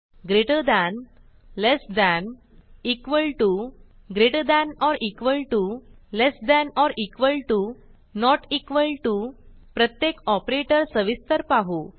greater than less than equal to greater than or equal to less than or equal to not equal to प्रत्येक operator सविस्तर पाहू